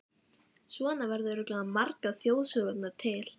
Svona verða örugglega margar þjóðsögurnar til.